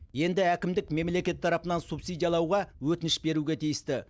енді әкімдік мемлекет тарапынан субсидиялауға өтініш беруге тиісті